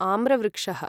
आम्रवृक्षः